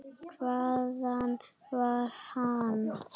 Hvaðan var hann?